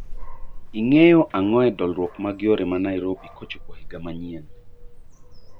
Ing'eyo ang'o e dolruok mag yore ma Nairobi kochopo higa manyien